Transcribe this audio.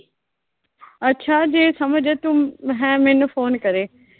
ਅੱਛਾ ਜੇ ਸਮਝ ਐ, ਤੂੰ ਹੈਂ ਮੈਨੂੰ ਫੋਨ ਕਰੇ।